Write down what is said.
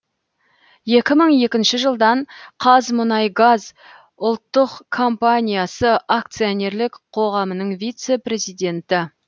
екі мың екінші жылдан қазмұнайгаз ұлттық компаниясы акционерлік қоғамының вице президенті